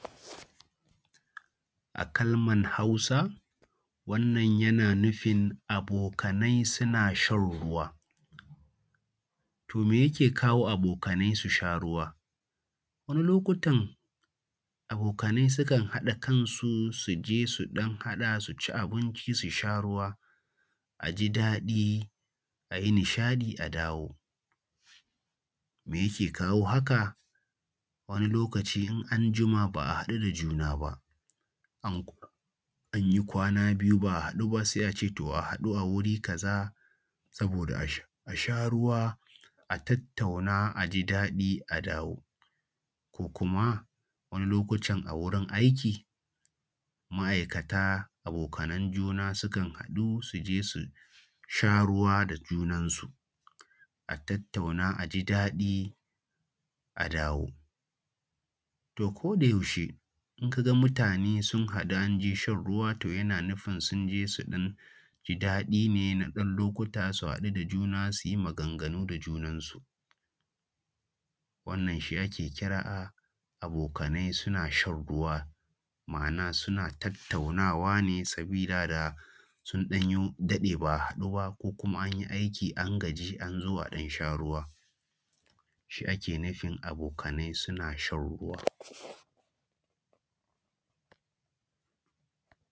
A kalman Hausa, wannan yana nufin abokanai suna shan ruwa. To me yake kawo abokanai su sha ruwa? Wani lokutan abokanai sukan haɗa kansu su je su ɗan haɗa su ci abinci su sha ruwa, a ji daɗi a yi nishaɗi a dawo. Me yake kawo haka? Wani lokaci in anjima ba’a haɗu da juna ba, an kwana biyu ba’a haɗu ba sai a ce a haɗu a wuri kaza saboda a sh a sha ruwa, a tattauna a ji daɗi a dawo. Ko kuma wani lokutan a wurin aiki, ma’aikata abokanan juna sukan haɗu su je su sha ruwa da junansu, a tattauna a ji daɗi a dawo. A ko da yaushe, in ka ga mutane sun haɗu an je shan ruwa to yana nufin sun je su ɗan ji daɗi ne na ɗan lokuta su haɗu da juna su yi maganganu da junansu. Wannan shi ake kira abokanai suna shan ruwa, ma’ana suna tattaunawa ne sabila da sun ɗan yi daɗe ba’a haɗu ba ko kuma anyi aiki an gaji an zo a ɗan sha ruwa, shi ake nufin abokanai suna shan ruwa.